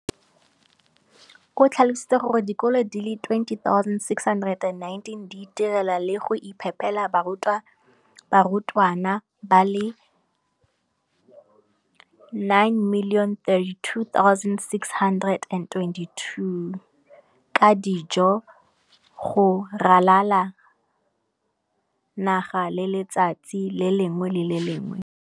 o tlhalositse gore dikolo di le 20 619 di itirela le go iphepela barutwana ba le 9 032 622 ka dijo go ralala naga letsatsi le lengwe le le lengwe.